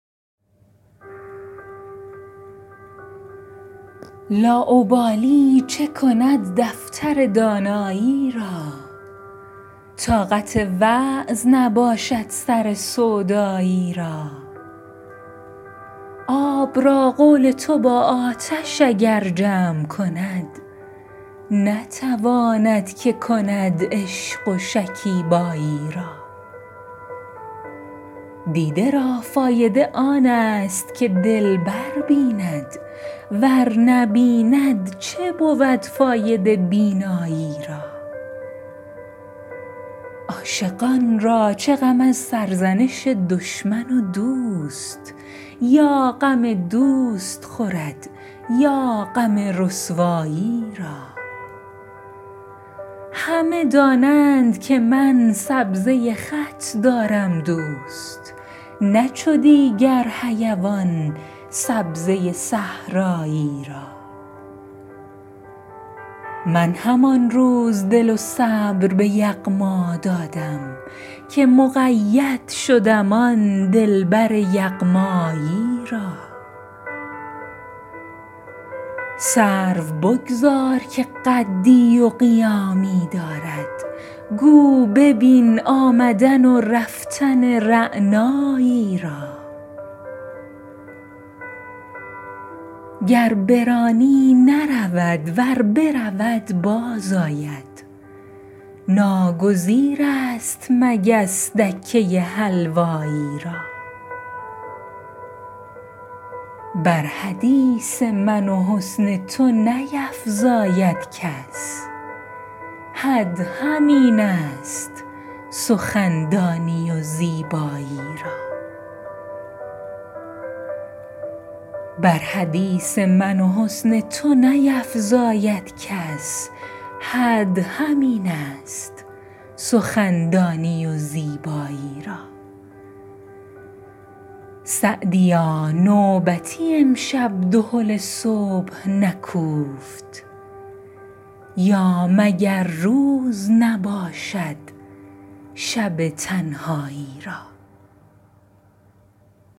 لاابالی چه کند دفتر دانایی را طاقت وعظ نباشد سر سودایی را آب را قول تو با آتش اگر جمع کند نتواند که کند عشق و شکیبایی را دیده را فایده آن است که دلبر بیند ور نبیند چه بود فایده بینایی را عاشقان را چه غم از سرزنش دشمن و دوست یا غم دوست خورد یا غم رسوایی را همه دانند که من سبزه خط دارم دوست نه چو دیگر حیوان سبزه صحرایی را من همان روز دل و صبر به یغما دادم که مقید شدم آن دلبر یغمایی را سرو بگذار که قدی و قیامی دارد گو ببین آمدن و رفتن رعنایی را گر برانی نرود ور برود باز آید ناگزیر است مگس دکه حلوایی را بر حدیث من و حسن تو نیفزاید کس حد همین است سخندانی و زیبایی را سعدیا نوبتی امشب دهل صبح نکوفت یا مگر روز نباشد شب تنهایی را